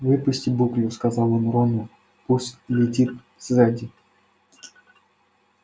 выпусти буклю сказал он рону пусть летит сзади